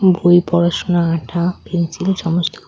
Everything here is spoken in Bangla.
বই পড়াশুনার আঠা পেন্সিল সমস্ত--